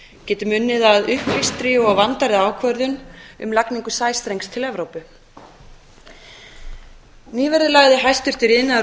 getum unnið að upplýstri og vandaðri ákvörðun um lagningu sæstrengs til evrópu nýverið lagði iðnaðar og